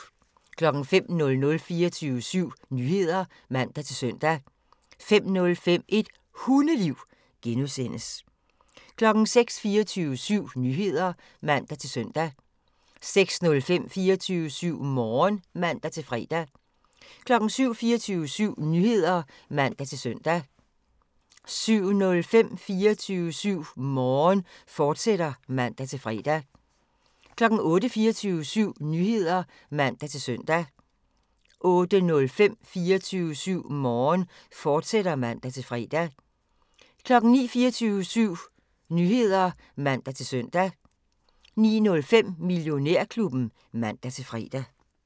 05:00: 24syv Nyheder (man-søn) 05:05: Et Hundeliv (G) 06:00: 24syv Nyheder (man-søn) 06:05: 24syv Morgen (man-fre) 07:00: 24syv Nyheder (man-søn) 07:05: 24syv Morgen, fortsat (man-fre) 08:00: 24syv Nyheder (man-søn) 08:05: 24syv Morgen, fortsat (man-fre) 09:00: 24syv Nyheder (man-søn) 09:05: Millionærklubben (man-fre)